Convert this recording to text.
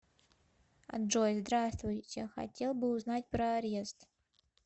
джой здравствуйте хотел бы узнать про арест